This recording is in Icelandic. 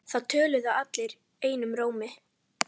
Það töluðu allir einum rómi.